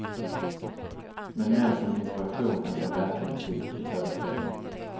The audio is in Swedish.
Men mer som inspiration än som verklig musik i föreställningen.